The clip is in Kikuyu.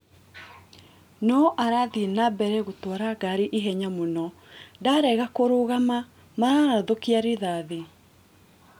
No arathiina mbere gũtwara ngari ihenya mũno" Ndarega kũrũgama mararathũkia rithathi